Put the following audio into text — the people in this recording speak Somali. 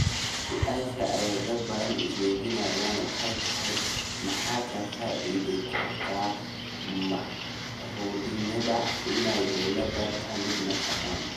Su’aasha ay dad badani is weydiinayaan waxa ay tahay maxaa ka faa’iidi kara mucaaradnimada in ay dowladda ka mid noqdaan?